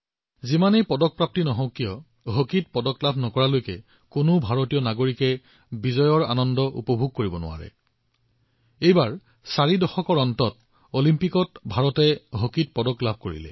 যিমানেই পদক লাভ নকৰক কোনো ভাৰতীয় নাগৰিকে হকীত পদক নোপোৱালৈকে বিজয় উপভোগ কৰিব নোৱাৰে আৰু এইবাৰ চাৰি দশকৰ পিছত অলিম্পিকত হকী পদক লাভ কৰিলো